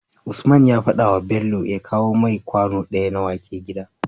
Usman ya fadawa Bello ya kawo mai kwano daya na wake gida